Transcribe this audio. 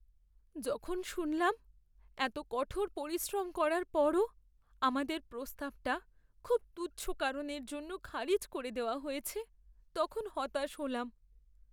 যখন শুনলাম এতো কঠোর পরিশ্রম করার পরও আমাদের প্রস্তাবটা খুব তুচ্ছ কারণের জন্য খারিজ করে দেওয়া হয়েছে তখন হতাশ হলাম।